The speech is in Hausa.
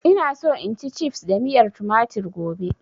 Ina so in ci cifs da miyar tumatir gobe